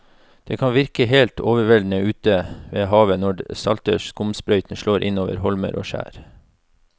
Det kan virke helt overveldende ute ved havet når den salte skumsprøyten slår innover holmer og skjær.